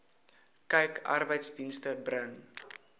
kyk arbeidsdienste bring